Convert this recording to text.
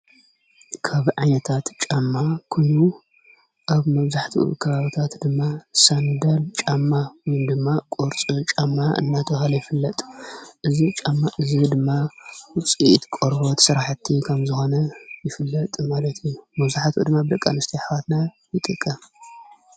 ካብ ዓነታት ጫማ ኲኑ ኣብ መብዙሕቲ ክባብታት ድማ ሳንደል ጫማ ዊን ድማ ቝርጽ ጫማ እናተውሃለ ይፍለጥ እዝ ጫማ እዝ ድማ ውፂኢት ቖርቦት ሠራሕቲ ከም ዝሆነ ይፍለጥ ማለቲ መብዙኃት ድማ ኣብልቃ ንስተኣኅዋትና ይጥቀም::